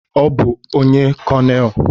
Ọ bụ onye Konelu.